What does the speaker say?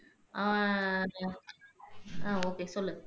அஹ் ஆஹ் ஒகே சொல்லுங்க